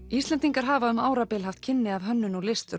Íslendingar hafa um árabil haft kynni af hönnun og list